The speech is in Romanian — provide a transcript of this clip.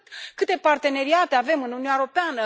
Câte parteneriate avem în Uniunea Europeană?